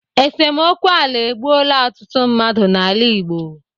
Esemokwu ala egbuoola ọtụtụ mmadụ n'ala Igbo.